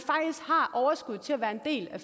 er en del af